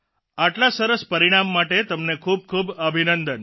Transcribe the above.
આટલા સરસ પરિણામ માટે તમને ખૂબખૂબ અભિનંદન